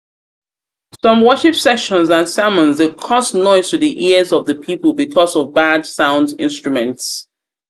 some worship sessions and sermons de cause sermons de cause noise to the ears of pipo because of bad sound instruments